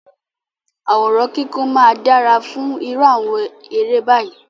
Àwòrán kíkún máa dára fún irú àwọn eré báyìí.